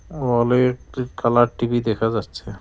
ওয়ালে একটি colour TV দেখা যাচ্ছে।